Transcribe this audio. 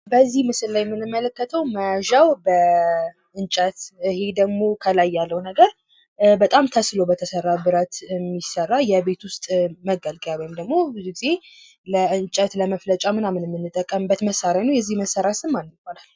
በዚህ ምስል ላይ የምንመለከተው መሣሪያ መያዣው በእንጨት ይሄ ደግሞ ከላይ ያለው በጣም ተስሎ በተሰራ ብረት የተሰራ የቤት ውስጥ መገልገያ ወይም ደግሞ ብዙ ጊዜ እንጨት ለመፍለጫነት ምናምን የምንጠቀምበት መሳሪያ ነው የዚህ መሳሪያ ስም ምን ይባላል?